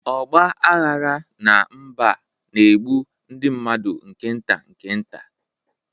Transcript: Ọgba aghara na mba a na-egbu ndị mmadụ nke nta nke nta